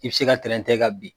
I bɛ se ka tɛrɛntɛ ka bin.